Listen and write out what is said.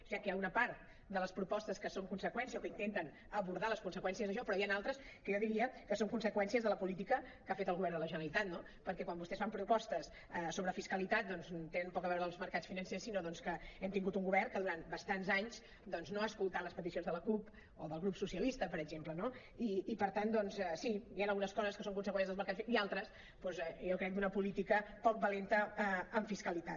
o sigui que hi ha una part de les propostes que són conseqüència o que intenten abordar les conseqüències d’això però hi han altres que jo diria que són conseqüències de la política que ha fet el govern de la generalitat no perquè quan vostès fan propostes sobre fiscalitat doncs tenen poc a veure els mercats financers sinó que hem tingut un govern que durant bastants anys doncs no ha escoltat les peticions de la cup o del grup socialistes per exemple no i per tant doncs sí hi han algunes coses que són conseqüència dels mercats financers i altres jo crec que d’una política poc valenta en fiscalitat